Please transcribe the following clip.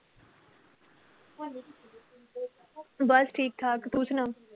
ਬੱਸ ਠੀਕ ਠਾਕ, ਤੂੰ ਸੁਣਾ?